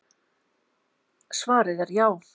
Svarið er já.